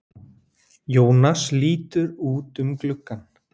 Jónas lítur út um gluggann.